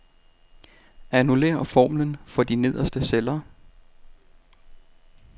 Annullér formlen for de nederste celler.